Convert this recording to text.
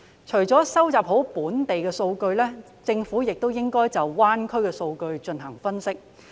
除了收集好本地數據外，政府亦應該就粵港澳大灣區的數據進行分析。